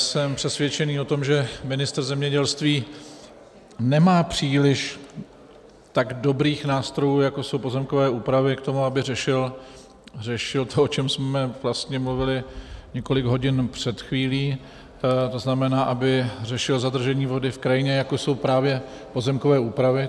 Jsem přesvědčený o tom, že ministr zemědělství nemá příliš tak dobrých nástrojů, jako jsou pozemkové úpravy, k tomu, aby řešil to, o čem jsme vlastně mluvili několik hodin před chvílí, to znamená, aby řešil zadržení vody v krajině, jako jsou právě pozemkové úpravy.